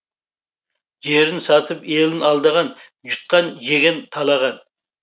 жерін сатып елін алдаған жұтқан жеген талаған